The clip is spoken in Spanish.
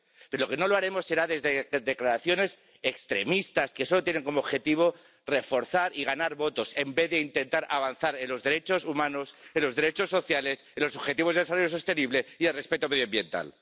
Pero lo que no lo haremos será desde declaraciones extremistas que solo tienen como objetivo reforzar y ganar votos en vez de intentar avanzar en los derechos humanos, en los derechos sociales, en los Objetivos de Desarrollo Sostenible y en el respeto medioambiental.